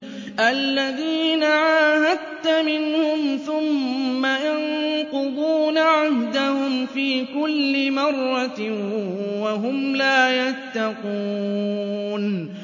الَّذِينَ عَاهَدتَّ مِنْهُمْ ثُمَّ يَنقُضُونَ عَهْدَهُمْ فِي كُلِّ مَرَّةٍ وَهُمْ لَا يَتَّقُونَ